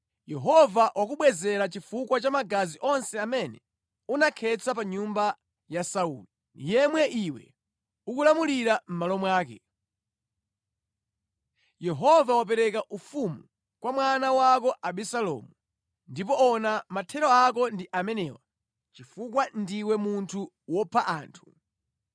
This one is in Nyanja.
Yehova wakubwezera chifukwa cha magazi onse amene unakhetsa pa nyumba ya Sauli, yemwe iwe ukulamulira mʼmalo mwake. Yehova wapereka ufumu kwa mwana wako Abisalomu. Ndipo ona mathero ako ndi amenewa chifukwa ndiwe munthu wopha anthu!”